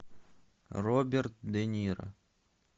роберт де ниро